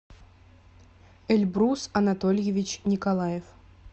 эльбрус анатольевич николаев